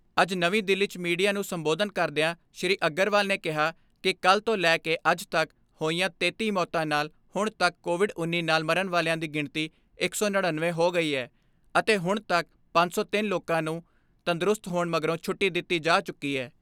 ਅੱਜ ਨਵੀਂ ਦਿੱਲੀ 'ਚ ਮੀਡੀਆ ਨੂੰ ਸੰਬੋਧਨ ਕਰਦਿਆਂ ਸ੍ਰੀ ਅਗਰਵਾਲ ਨੇ ਕਿਹਾ ਕਿ ਕੱਲ੍ਹ ਤੋਂ ਲੈ ਅੱਜ ਤੱਕ ਹੋਈਆਂ ਤੇਤੀ ਮੌਤਾਂ ਨਾਲ ਹੁਣ ਤੱਕ ਕੋਵਿਡ ਉੱਨੀ ਨਾਲ ਮਰਨ ਵਾਲਿਆਂ ਦੀ ਗਿਣਤੀ ਇੱਕ ਸੌ ਨੜੀਨਵੇਂ ਹੋ ਗਈ ਐ, ਅਤੇ ਹੁਣ ਤੱਕ ਪੰਜ ਸੌ ਤਿੰਨ ਲੋਕਾਂ ਨੂੰ ਤੰਦਰੁਸਤ ਹੋਣ ਮਗਰੋਂ ਛੁੱਟੀ ਦਿੱਤੀ ਜਾ ਚੁੱਕੀ ਐ।